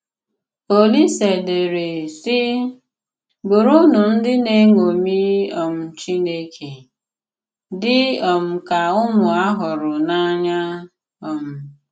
Òlìsè dèré, sị: “Bùrụnụ ndị na-eṅòmì um Chìnékè, dị um ka ụmụ a hùrù n'anya.” um